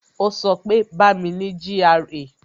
Ó sọ pé "Bá mi ní GRA"